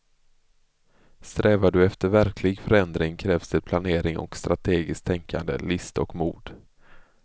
Strävar du efter verklig förändring krävs det planering och strategiskt tänkande, list och mod.